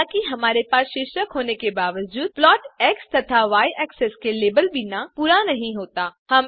हालाँकि हमारे पास शीर्षक होने के बावजूद प्लॉट एक्स तथा य एक्सेस के लेबल बिना पूरा नहीं होता है